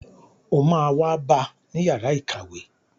O má wá bá ni yàrá ìkàwé.